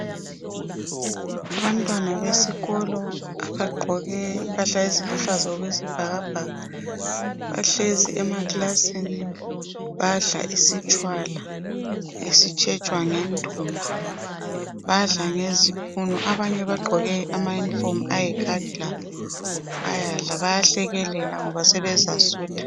Abantwana besikolo abagqoke impahla eziluhlaza okwesibhakabhaka bahlezi emaklasini badla isitshwala esitshetshwa ngendumba. Badla ngezipunu. Abanye bagqoke amayunifomu ayikhakhi labo. Bayahlekelela ngoba sebezasutha.